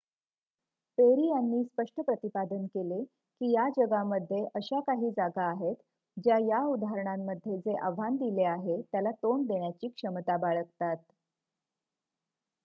"Peri यांनी स्पष्ट प्रतिपादन केले की,""या जगामध्ये अशा काही जागा आहेत ज्या या उदाहरणांमध्ये जे आव्हान दिले आहे त्याला तोंड देण्याची क्षमता बाळगतात.